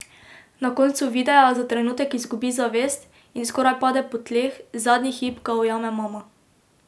Na koncu videa za trenutek izgubi zavest in skoraj pade po tleh, zadnji hip ga ujame mama.